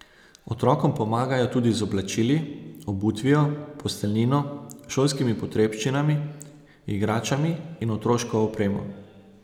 Otrokom pomagajo tudi z oblačili, obutvijo, posteljnino, šolskimi potrebščinami, igračami in otroško opremo.